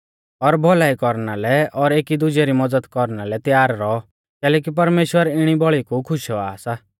और भौलाई कौरना लै और एकीदुजै री मज़द कौरना लै त्यार रौऔ कैलैकि परमेश्‍वर इणी बौल़ी कु खुश औआ सा